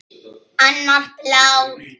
Annar blár.